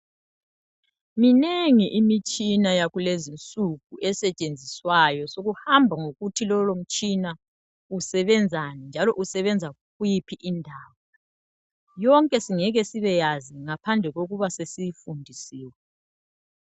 Minengi imitshina yakulezinsuku esetshenziswayo, kuhamba ngokuthi lowo mtshina usebenzani, njalo usebenza kuyiphi indawo. Yonke singeke sibe yazi ngaphandle kokuba sesiyifundisiwe.